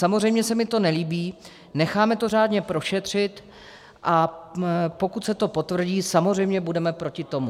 Samozřejmě se mi to nelíbí, necháme to řádně prošetřit, a pokud se to potvrdí, samozřejmě budeme proti tomu.